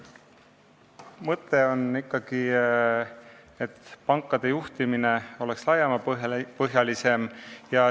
Mõte on ikkagi see, et pankade juhtimine oleks laiapõhjalisem.